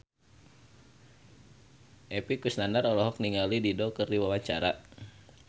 Epy Kusnandar olohok ningali Dido keur diwawancara